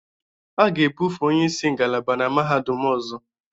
A ga-ebufe onye isi ngalaba na mahadum ọzọ